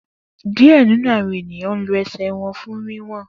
Diẹ ninu awọn eniyan lo ẹsẹ wọn fun wiwọn.